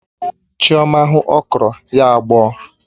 Chioma hụ okro, ya agbọ̀ọ